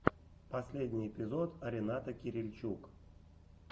последний эпизод рената кирильчук